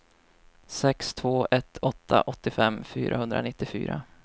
sex två ett åtta åttiofem femhundranittiofyra